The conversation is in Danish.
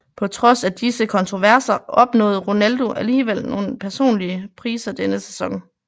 På trods af disse kontroverser opnåede Ronaldo alligevel nogle personlige priser denne sæson